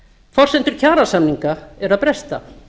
forsendur kjarasamninga eru að bresta